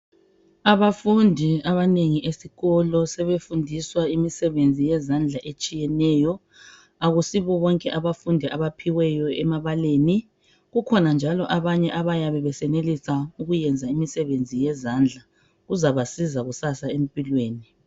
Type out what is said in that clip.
Abafundi abanengi esikolo sebefunda imizebenzi eminengi yezandla isibona bonke abafundi abaphiweyo esikolweni kukhona njalo abanye abayabe besenelisa imisebenzi yezandla kuzabasiza kakhulu kusasa empilweni